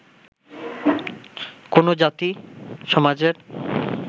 কোনো জাতি, সমাজের